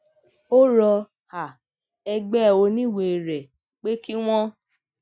ó rọ um ẹgbé oníwèé rè pé kí wón